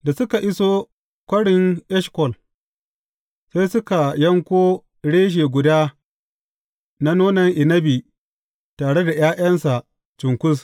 Da suka iso Kwarin Eshkol, sai suka yanko reshe guda na nonon inabi tare da ’ya’yansa cunkus.